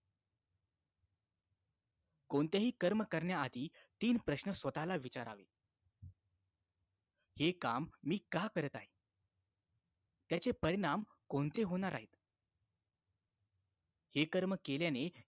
कोणतेही कर्म करण्या आधी तीन प्रश्न स्वताला विचारावे हे काम मी का करत आहे त्याचे परिणाम कोणते होणार आहे हे कर्म केल्याने